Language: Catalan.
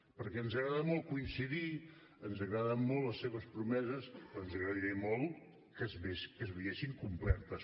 perquè ens agrada molt coincidir ens agraden molt les seves promeses però ens agradaria molt que es veiessin complertes